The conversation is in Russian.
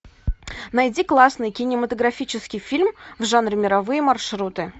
найди классный кинематографический фильм в жанре мировые маршруты